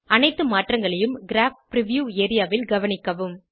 அனைத்து மாற்றங்களையும் crop preview areaல் கவனிக்கவும்